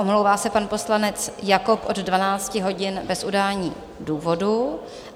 Omlouvá se pan poslanec Jakob od 12 hodin bez udání důvodu.